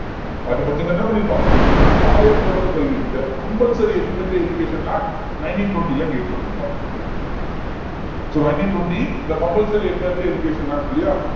என்ன பண்ணி இருப்பாங்க இந்த கட்டாய தொடக்கக்கல்வி the compulsory elementary education act nineteen twenty ல இருந்து ஏற்படுத்திருப்பாங்க so nineteen twenty the compulsory elementary education act இல்லையா